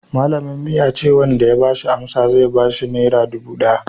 malamin mu ya ce wanda ya bashi amsa zai bashi nera dubu daya